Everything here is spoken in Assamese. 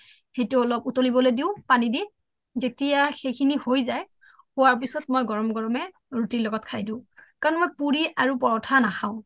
সেইটো অলপ উটোলিব দিও পানী দি যেতিয়া সেইখিনি হৈ যায় হোৱাৰ পিছত মই গৰমে গৰমে ৰুটিৰ লগত খাই দিও কাৰণ মই পুৰি আৰু পৰথা নাখাও সেইখিনিত বহুত তেল থাকে ন তেল যুক্ত আহাৰ খোৱাটো এনেও ভাল নহয় দেহৰ প্ৰতি সেইকাৰণে মই তোমাৰ তেনেকৈ বনাই কেনে খাও আ কম মচলা দিয়ে আৰু মই আমাৰ তাৰ মানে তোমাৰ